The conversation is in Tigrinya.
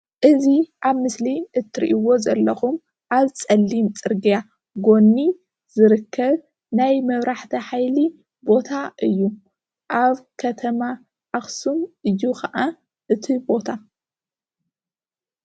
እዚ አብ ምስሊ እትሪእዎ ዘለኩም አብ ፀሊም ፅርግያ ጉኒ ዝርከብ ናይ መብራህቲ ሃይል ቦታ እዩ። አብ ከተማ አክሱም እዩ ከዓ እቲ ቦታ ።